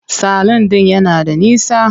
Salun ɗin yana da nisa.